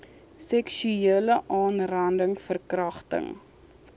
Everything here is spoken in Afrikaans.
seksuele aanranding verkragting